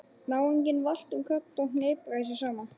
Náunginn valt um koll og hnipraði sig saman.